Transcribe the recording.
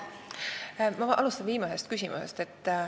Ma alustan viimasest küsimusest.